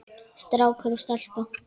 Strákur og stelpa.